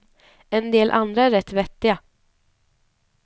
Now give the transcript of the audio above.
En del andra är rätt vettiga.